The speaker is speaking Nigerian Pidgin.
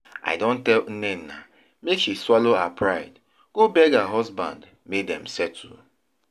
I don tell Nnenna make she swallow her pride go beg her husband make dem settle